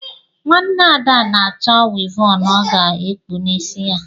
Nwanne Ada na-achọ wịvọnụ ọ ga-ekpu n’isi ya